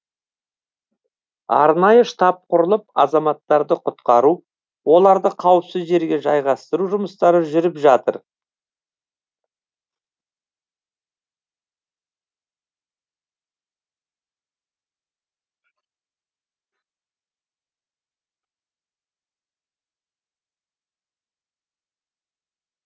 арнайы штаб құрылып азаматтарды құтқару оларды қауіпсіз жерге жайғастыру жұмыстары жүріп жатыр